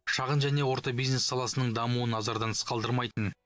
шағын және орта бизнес саласының дамуын назардан тыс қалдырмайтын